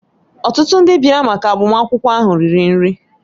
Ọtụtụ ndị bịara maka agbamakwụkwọ ahụ riri nri